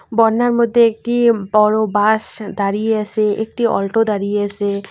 বন্যার মধ্যে একটি বড় বাস দাঁড়িয়ে আছে একটি অল্টো দাঁড়িয়ে আছে।